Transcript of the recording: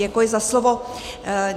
Děkuji za slovo.